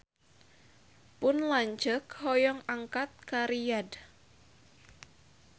Pun lanceuk hoyong angkat ka Riyadh